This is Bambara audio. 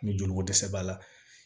Ni joliko dɛsɛ b'a la